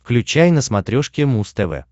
включай на смотрешке муз тв